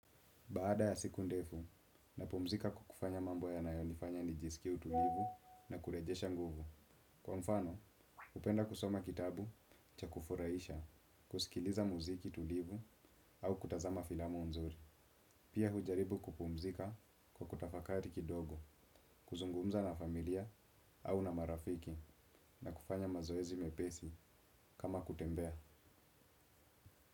Baada ya siku ndefu, napumzika kwa kufanya mambo yanayonifanya nijisikie tulivu na kurejesha nguvu. Kwa mfano, hupenda kusoma kitabu, cha kufurahisha, kusikiliza muziki tulivu au kutazama filamu nzuri. Pia hujaribu kupumzika kwa kutafakari kidogo, kuzungumza na familia au na marafiki na kufanya mazoezi mepesi kama kutembea.